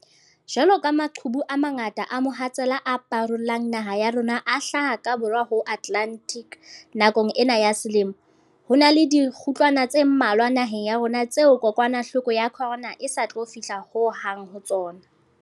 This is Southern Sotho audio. Jwaloka maqhubu a mangata a mohatsela a parolang naha ya rona a hlaha ka Borwa ho Atlantic nakong ena ya selemo, ho na le dikgutlwana tse mmalwa naheng ya rona tseo kokwanahloko ya corona e sa tlo fihla ho hang ho tsona.